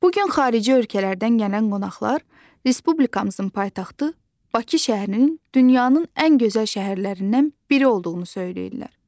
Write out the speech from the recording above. Bu gün xarici ölkələrdən gələn qonaqlar respublikamızın paytaxtı Bakı şəhərinin dünyanın ən gözəl şəhərlərindən biri olduğunu söyləyirlər.